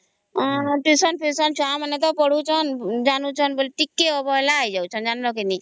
tution ଫିଉସିନ ଛୁଆ ମାନେ ତ ପଢୁ ଛନ ଜାଣୁ ଛନ ବୋଲି ଟିକେ ଅବହେଳା ହେଇ ଯାଉ ଛନ ଜାଣିଲ କେ ନାଇଁ